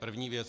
První věc.